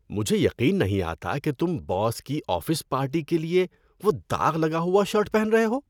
مجھے یقین نہیں آتا کہ تم باس کی آفس پارٹی کے لیے وہ داغ لگا ہوا شرٹ پہن رہے ہو۔